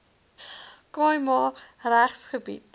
khai ma regsgebied